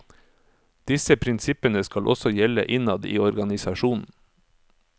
Disse prinsippene skal også gjelde innad i organisasjonen.